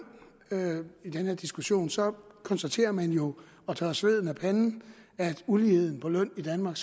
i den her diskussion så konstaterer man jo og tørrer sveden af panden at uligheden på løn i danmark